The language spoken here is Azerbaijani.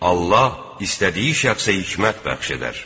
Allah istədiyi şəxsə hikmət bəxş edər.